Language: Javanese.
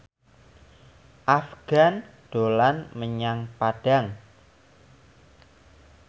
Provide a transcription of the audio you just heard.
Afgan dolan menyang Padang